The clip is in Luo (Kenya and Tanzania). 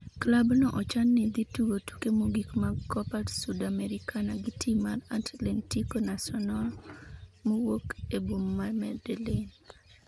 klab no ochan ni dhi tugo tuke mogik mag Copa Sudamericana, gi tim mar Atletico Nacional mawuok e boma ma Medellin.